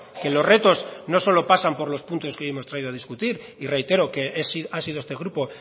que los retos no solo pasan por los puntos que hoy hemos traído a discutir y reitero que ha sido este grupo